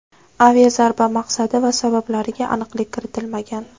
Aviazarba maqsadi va sabablariga aniqlik kiritilmagan.